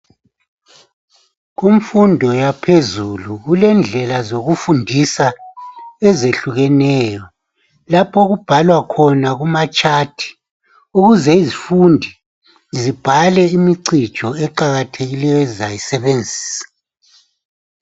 Kumfundo yaphezulu kulendlela zokufundisa ezehlukeneyo lapho okubhalwa khona kuma gwaliba ukuze izifundi zibhale imcijo eqakathekileyo ezizayisebenzisa.